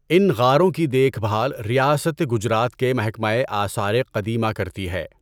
ان غاروں کی دیکھ بھال ریاست گجرات کے محکمہ آثار قدیمہ کرتی ہے۔